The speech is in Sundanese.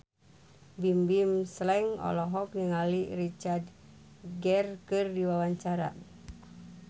Bimbim Slank olohok ningali Richard Gere keur diwawancara